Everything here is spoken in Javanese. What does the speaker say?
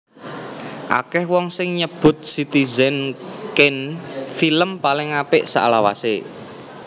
Akèh wong sing nyebut Citizen Kane film paling apik salawasé